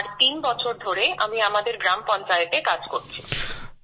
আর তিন বছর ধরে আমি আমাদের গ্রাম পঞ্চায়েতে কাজ করছি